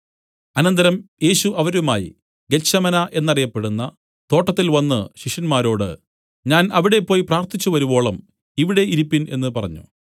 അനന്തരം യേശു അവരുമായി ഗെത്ത്ശമന എന്നറിയപ്പെടുന്ന തോട്ടത്തിൽ വന്നു ശിഷ്യന്മാരോട് ഞാൻ അവിടെ പോയി പ്രാർത്ഥിച്ചു വരുവോളം ഇവിടെ ഇരിപ്പിൻ എന്നു പറഞ്ഞു